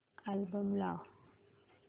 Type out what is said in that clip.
album लाव